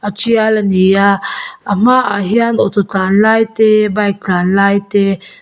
tial a ni a a hmaah hian auto tlan lai te bike tlanlai te--